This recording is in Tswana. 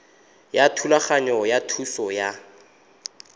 ya thulaganyo ya thuso ya